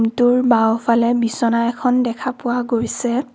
ৰুমটোৰ বাওঁফালে বিছনা এখন দেখা পোৱা গৈছে।